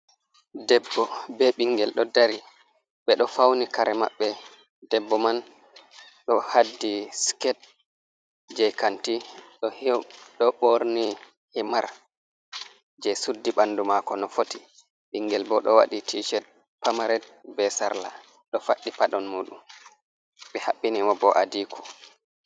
Debbo be ɓingel ɗo dari, ɓe ɗo fauni kare maɓɓe debbo man ɗo haddi sket je kanti ɗo ɓorni himar je suddi ɓanɗu mako no foti, ɓingel bo ɗo waɗi tiched pamared be sarla ɗo faɗɗi paɗon muɗum, ɓe haɓɓi ni mo bo adiko.